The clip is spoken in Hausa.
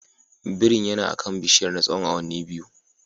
Birin yana akan bishiyar na tsawon awanni biyu.